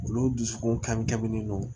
Olu dusukun kan min non